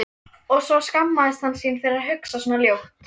En svo skammaðist hann sín fyrir að hugsa svona ljótt.